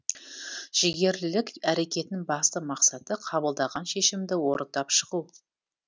жігерлілік әрекетінің басты мақсаты қабылдаған шешімді орындап шығу